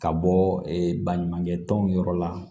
Ka bɔ baɲumankɛ tɔnw yɔrɔ la